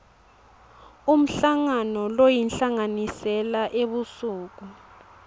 umhlangano loyinhlanganisela ebusuku